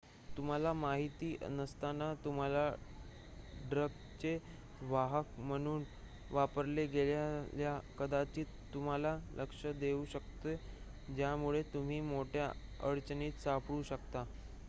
तुम्हाला माहिती नसताना तुम्हाला ड्रगचे वाहक म्हणून वापरले गेल्याचे कदाचित तुमच्या लक्षात येऊ शकते ज्यामुळे तुम्ही मोठ्या अडचणीत सापडू शकता